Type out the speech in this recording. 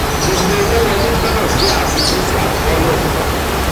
gbogbo owó wọlé gbọdọ̀ jẹ́ àfikún sí àkọọ́lẹ̀.